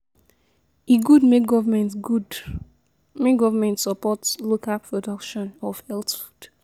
E good make government good make government support local production of healthy food.